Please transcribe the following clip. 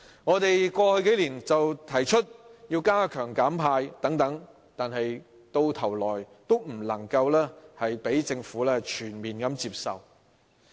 我們過去數年提出加強"減派"等建議，但最終均不獲政府全面接受。